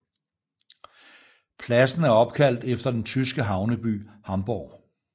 Pladsen er opkaldt efter den tyske havneby Hamburg